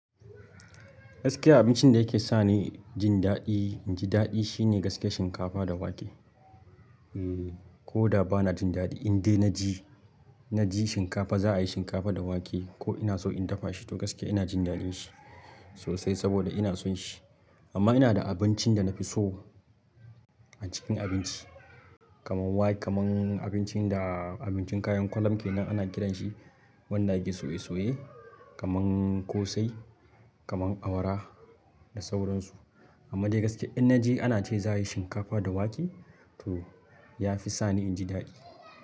Gaskiya abincin da yake sani jin daɗi, in ji daɗi shine gaskiya shinkafa da wake. Ehh koda bana jin dadi indai naji za, ai shinkafa da wake ko ina so in dafa shi to gaskiya inajin dadin shi sosai saboda ina son shi amma ina da abincin da na fi so a cikin abinci kamar wa-- kamar abincin da abincin kayan kwalem ke nan ana kiran shi, wannan ake soye-soye kamar ƙosai, kamar awara da sauran su. Amma dai gaskiya in na je ana ce za a yi shinkafa da wake to ya fi sani in ji daɗi.